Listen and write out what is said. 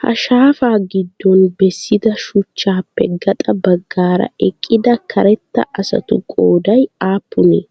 Ha shaafaa giddon bessida shuchchaappe gaxa baggaara eqqida karetta asatu qooday aappunee?